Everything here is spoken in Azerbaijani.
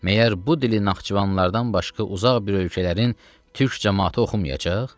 Məyər bu dilin Naxçıvanlılardan başqa uzaq bir ölkələrin türk cəmaəti oxumayacaq?